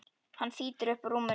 Hann þýtur upp úr rúminu.